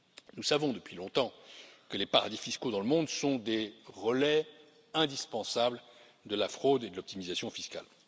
Nous savons depuis longtemps que les paradis fiscaux dans le monde sont les relais indispensables de la fraude et de l'optimisation fiscale.